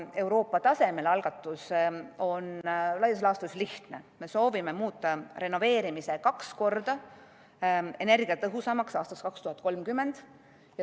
Euroopa tasemel algatus on laias laastus lihtne: me soovime muuta renoveerimise aastaks 2030 kaks korda energiatõhusamaks.